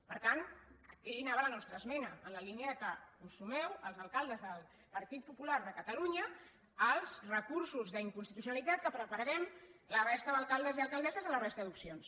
per tant aquí anava la nostra esmena en la línia que us sumeu els alcaldes del partit popular de catalunya als recursos d’inconstitucionalitat que prepararem la resta d’alcaldes i alcaldesses de la resta d’opcions